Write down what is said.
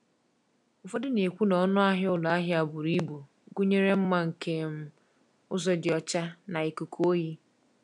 Ụfọdụ na-ekwu na ọnụ ahịa ụlọ ahịa buru ibu gụnyere mma nke um ụzọ dị ọcha na ikuku oyi.